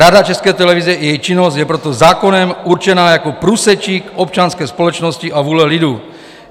Rada České televize a její činnost je proto zákonem určena jako průsečík občanské společnosti a vůle lidu.